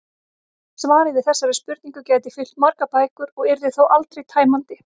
Svarið við þessari spurningu gæti fyllt margar bækur og yrði þó aldrei tæmandi.